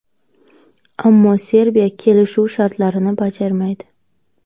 Ammo Serbiya kelishuv shartlarini bajarmaydi.